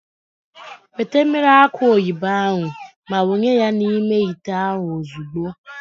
Weta mmiri akụ oyibo ahụ ma wụnye ya n'ime ite ahụ ozugbo.